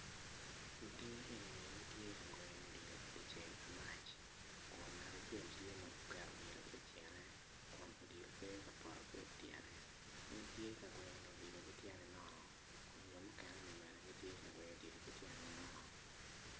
Lutini enini gitye ka gweno odilo i di ceng amac kun ngat acel tye ma oketo odilo ityene kun odilo pe ka poto ki ityene en tye ka gweno odilo ki tyene nono kun jo mukeneni bene ti ka gweno odilo ki tyengi nono